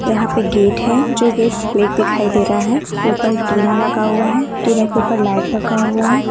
यहां पर गेट है जो गेट ब्लैक दिखाई दे रहा है ऊपर टीना लगा हुआ है टीना के ऊपर लाइट रखा हुआ है।